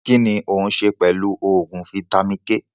Kínní òun ṣe pẹlu oògùn vitamin-k